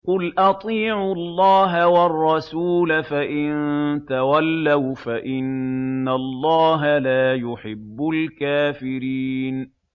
قُلْ أَطِيعُوا اللَّهَ وَالرَّسُولَ ۖ فَإِن تَوَلَّوْا فَإِنَّ اللَّهَ لَا يُحِبُّ الْكَافِرِينَ